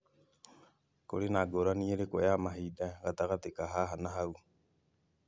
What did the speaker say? Kũrĩ na ngũrani ĩrĩkũ ya mahinda gatagatĩ ka haha na hau?